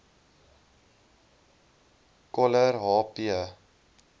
coller h p